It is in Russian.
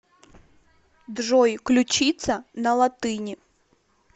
джой ключица на латыни